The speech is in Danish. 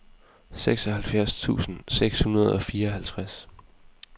seksoghalvfjerds tusind seks hundrede og fireoghalvtreds